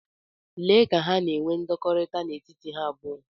Lee ka ha na-enwe ndọkọrita n'etiti ha abụọ.